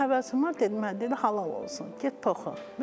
Deyir ki, həvəsin var, dedim mənə dedi halal olsun, get toxu.